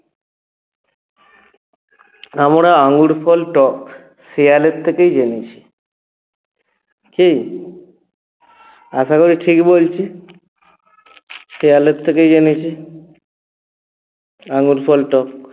আমরা আঙ্গুল ফল টক শেয়ালের থেকেই জেনেছি কী? আশা করি ঠিক বলছি? শিয়ালের থেকেই জেনেছি আঙ্গুর ফল টক